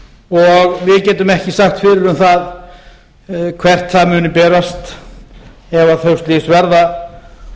og við getum ekki sagt fyrir um það hvert það muni berast ef þau slys verða